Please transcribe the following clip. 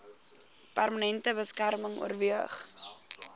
permanente beskerming oorweeg